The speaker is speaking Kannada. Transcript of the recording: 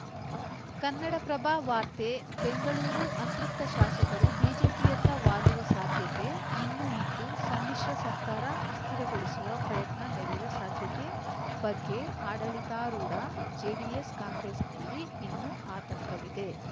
ಕನ್ನಡಪ್ರಭ ವಾರ್ತೆ ಬೆಂಗಳೂರು ಅತೃಪ್ತ ಶಾಸಕರು ಬಿಜೆಪಿಯತ್ತ ವಾಲುವ ಸಾಧ್ಯತೆ ಇನ್ನೂ ಇದ್ದು ಸಮ್ಮಿಶ್ರ ಸರ್ಕಾರ ಅಸ್ಥಿರಗೊಳಿಸುವ ಪ್ರಯತ್ನ ನಡೆಯುವ ಸಾಧ್ಯತೆ ಬಗ್ಗೆ ಆಡಳಿತಾರೂಢ ಜೆಡಿಎಸ್‌ಕಾಂಗ್ರೆಸ್‌ನಲ್ಲಿ ಇನ್ನೂ ಆತಂಕವಿದೆ